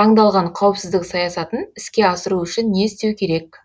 таңдалған қауіпсіздік саясатын іске асыру үшін не істеу керек